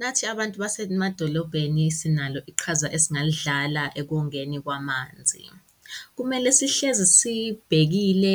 Nathi abantu basemadolobheni sinalo iqhaza esingalidlala ekongeni kwamanzi. Kumele sihlezi siyibhekile